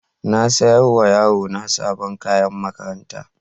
Na saya wa yarona sabon kayan makaranta.